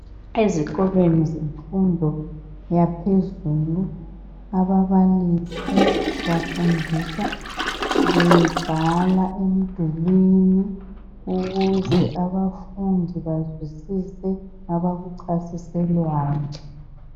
Ezikolweni zemfundo yaphezulu ababalisi bafundisa bebhala emdulini ukuze abafundi bazwisise abakuchasiselwayo.